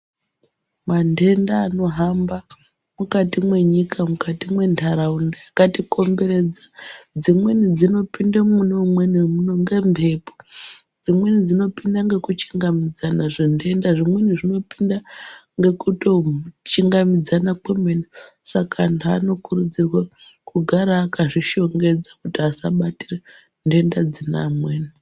Mantenda anohamba mukati mwenyika mukati mwentaraunda dzakatikomberedza dzimweni dzinopinde mune umweni muntu ngembepo, dzimweni dzinopinda ngekuchingamidzana, zvintenda zvimweni zvinopinde ngekutochingamidzana kwemene saka antu anokurudzirwa kugara akazvishongedza kuti asabatire ntenda dzine amweni.